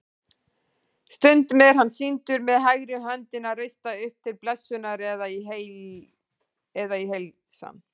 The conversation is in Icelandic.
Stundum er hann sýndur með hægri höndina reista upp til blessunar eða í heilsan.